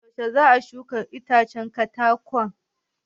Yuashe za a shuka itacen katakon?